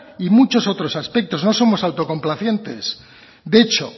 y muchos otros aspectos no somos autocomplacientes de hecho